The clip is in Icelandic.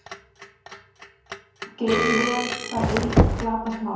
Geym vel það ei glatast má.